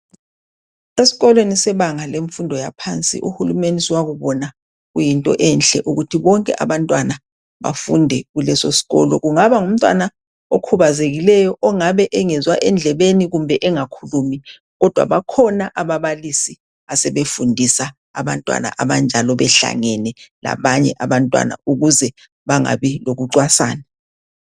Esikolweni sebanga lemfundo yaphansi, uhulumeni sowakubona kuyinto enhle ukuthi bonke abantwana bafunde kuleso sikolo. Kungaba ngumntwana okhubazekileyo, ongabe engezwa endlebeni kumbe engakhulumi, kodwa bakhona ababalisi asebefundisa abantwana abanjalo behlangene labanye abantwana ukuze bangabi lokucwasana.